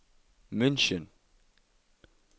München